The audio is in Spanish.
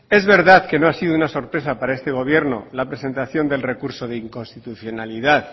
es verdad que no ha sido una sorpresa para este gobierno la presentación del recurso de inconstitucionalidad